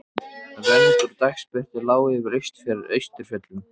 Rönd úr dagsbirtu lá yfir austurfjöllum.